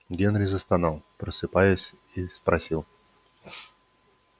генри застонал просыпаясь и спросил